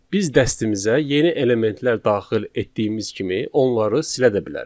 Biz dəstəmizə yeni elementlər daxil etdiyimiz kimi, onları silə də bilərik.